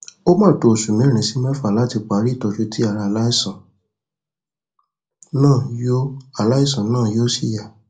ó máa tó oṣùmẹrin sí mẹfà láti parí ìtọjú tí ara aláìsàn náà yóò aláìsàn náà yóò sì yá